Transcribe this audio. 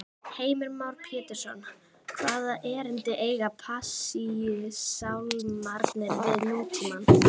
Heimir Már Pétursson: Hvaða erindi eiga Passíusálmarnir við nútímann?